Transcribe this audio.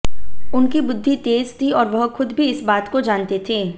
उनकी बुद्धि तेज थी और वह खुद भी इस बात को जानते थे